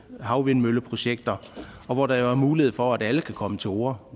med havvindmølleprojekter hvor der er mulighed for at alle kan komme til orde